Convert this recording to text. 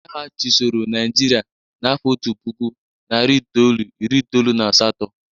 Ndị agha chịsọrọ Nịajịrịa n'afọ otu puku, nari itolu, iri itolu na asatọ.